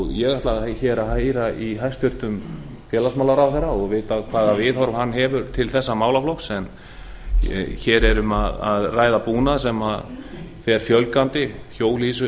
ég vil heyra frá hæstvirtum félagsmálaráðherra hvaða viðhorf hann hefur til þessara mála en hér er um að ræða búnað sem verður sífellt algengari hjólhýsum